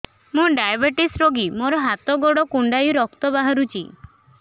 ମୁ ଡାଏବେଟିସ ରୋଗୀ ମୋର ହାତ ଗୋଡ଼ କୁଣ୍ଡାଇ ରକ୍ତ ବାହାରୁଚି